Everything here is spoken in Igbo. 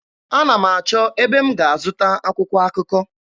Ana m achọ ebe m ga-azụta akwụkwọ akụkọ.